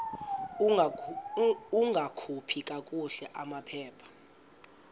ungakhupha kakuhle amaphepha